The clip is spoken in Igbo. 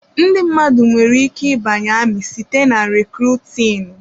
Ndị mmadụ nwere ike ịbanye amị site na rekrutinu.